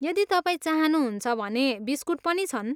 यदि तपाईँ चाहनुहुन्छ भने बिस्कुट पनि छन्।